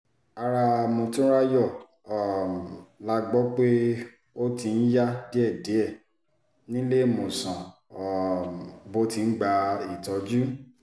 ara motunráyò um la gbọ́ pé ó ti ń yá díẹ̀díẹ̀ níléemọ̀sán um tó ti ń gba ìtọ́jú